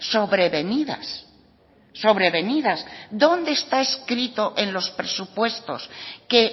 sobrevenidas sobrevenidas dónde está escrito en los presupuestos que